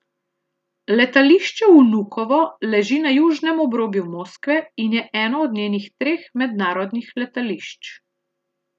Letališče Vnukovo leži na južnem obrobju Moskve in je eno od njenih treh mednarodnih letališč.